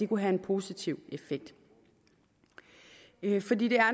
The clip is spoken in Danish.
kunne have en positiv effekt fordi det